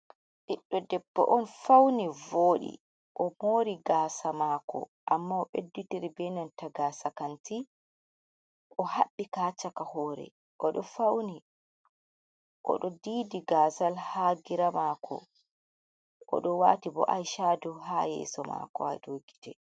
Ɓiɗɗo debbo on fauni voɗi. O mori gasa maako, amma o ɓedditiri be nanta gaasa kanti. O haɓɓi ka haa caka hore. O ɗo fauni. O ɗo didi gaazal haa gira maako, o ɗo waati bo ai cadu haa yeso maako, haa dou gite.